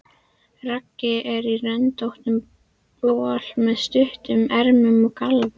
Raggi er í röndóttum bol með stuttum ermum og gallabuxum.